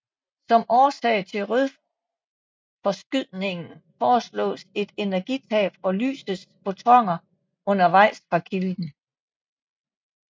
Som årsag til rødforskydningen foreslås et energitab for lysets fotoner undervejs fra kilden